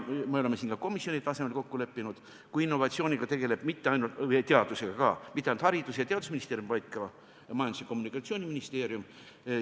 Me oleme ka komisjoni tasemel kokku leppinud, et innovatsiooni ja teadusega ei tegele mitte ainult haridus- ja teadusminister, vaid ka Majandus- ja Kommunikatsiooniministeerium.